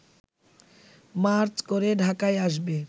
March করে ঢাকায় আসবে